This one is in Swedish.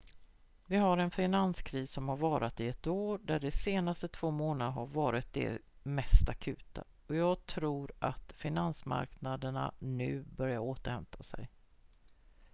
vi har en finanskris som har varat i ett år där de senaste två månaderna har varit de mest akuta och jag tror att finansmarknaderna nu börjar återhämta sig